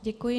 Děkuji.